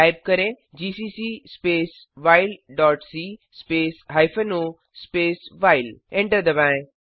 type करें GCC space while dot C space hyphen O space while enter दबाएं